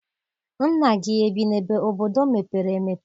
Nna gị ebi n'obodo mepere emepe?